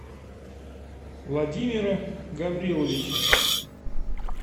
владимира гавриловича